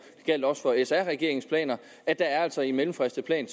gjaldt også for sr regeringens planer at det altså i en mellemfristet plan